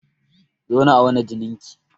Zo na auna jinin ki!